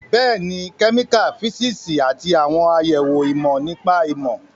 Bẹ́ẹ̀ni, kẹ́míkà, físíìsì, àti àwọn àyẹ̀wò ìmọ̀ nípa ìmọ̀